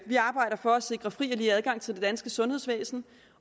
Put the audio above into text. vi arbejder for at sikre fri og lige adgang til det danske sundhedsvæsen